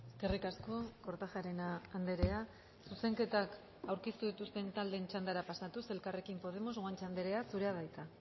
eskerrik asko kortajarena andrea zuzenketak aurkeztu dituzten taldeen txandara pasatuz elkarrekin podemos guanche andrea zurea da hitza